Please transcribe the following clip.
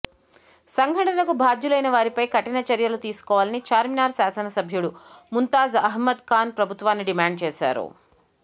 సంఘటనకు బాధ్యులైన వారిపై కఠిన చర్యలు తీసుకోవాలని చార్మినార్ శాసన సభ్యుడు ముంతాజ్ అహ్మద్ ఖాన్ ప్రభుత్వాన్ని డిమాండ్ చేశారు